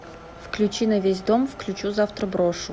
включи на весь дом включу завтра брошу